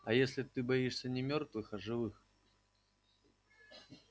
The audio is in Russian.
а если ты боишься не мёртвых а живых